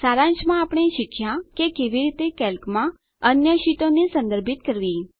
સારાંશમાં આપણે શીખ્યાં કે કેવી રીતે કેલ્કમાં અન્ય શીટોને સંદર્ભિત કરવી